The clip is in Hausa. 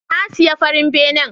Na siya farin benen.